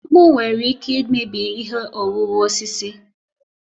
Mkpu nwere ike imebi ihe owuwu osisi.